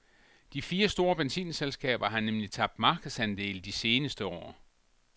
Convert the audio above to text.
De fire store benzinselskaber har nemlig tabt markedsandele de seneste år.